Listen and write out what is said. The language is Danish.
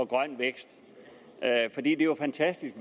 grøn vækst for det er jo fantastisk